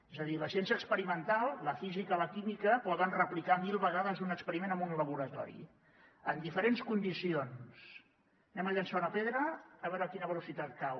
és a dir la ciència experimental la física la química poden replicar mil vegades un experiment en un laboratori en diferents condicions llancem una pedra a veure a quina velocitat cau